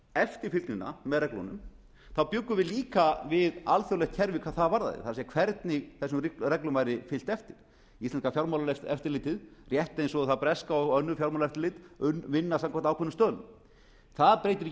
eftirfylgnina með reglunum þá bjuggum við líka við alþjóðlegt keri hvað það varðaði það er hvernig þessum reglum væri fylgt eftir íslenska fjármálaeftirlitið rétt eins og það breska og önnur fjármálaeftirlit vinna samkvæmt ákveðnum stöðlum það breytir ekki